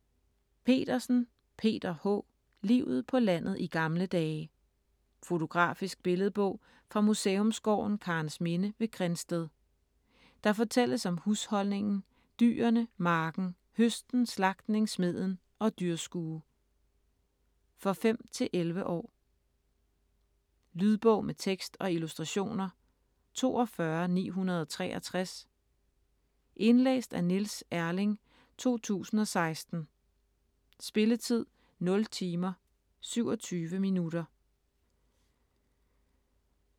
Petersen, Peter H.: Livet på landet i gamle dage Fotografisk billedbog fra Museumsgården Karensminde ved Grindsted. Der fortælles om husholdningen, dyrene, marken, høsten, slagtning, smeden og dyrskue. For 5-11 år. Lydbog med tekst og illustrationer 42963 Indlæst af Niels Erling, 2016. Spilletid: 0 timer, 27 minutter.